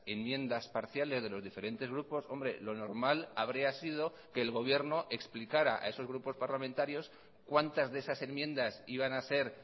enmiendas parciales de los diferentes grupos hombre lo normal habría sido que el gobierno explicara a esos grupos parlamentarios cuántas de esas enmiendas iban a ser